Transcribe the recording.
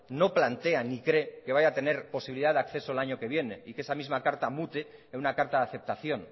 no plantea ni cree que vaya a tener posibilidad de acceso al año que viene y que esa misma carta mute en una carta de aceptación